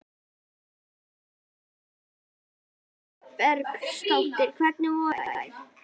Kristján: Hefur það gerst að?